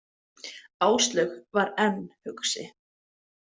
Áslaug var enn hugsi.